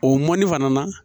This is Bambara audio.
O mɔni fana na